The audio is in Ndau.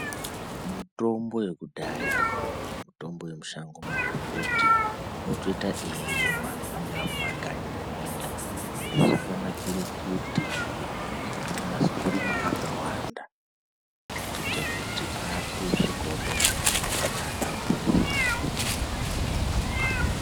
Mutombo yekudhaya, mutombo yemushango, magomboti otoita eirimwa mungaa mumakanyi muminda. Izvi zvakanakire kuti anonase kurimwa akawanda, kuite kuti atosvikawo kuvantu vakawanda aporese vantuvo ngenguwa.